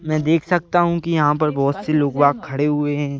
मैं देख सकता हूँ कि यहाँ पर बहुत से लोग वाग खड़े हुए हैं।